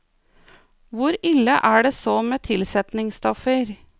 Hvor ille er det så med tilsetningsstoffer?